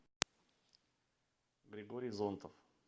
григорий зонтов